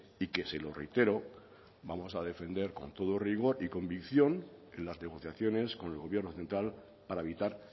y que se lo reitero vamos a defender con todo rigor y convicción en las negociaciones con el gobierno central para evitar